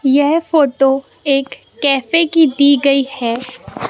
यह फोटो एक कैफे की दी गई है।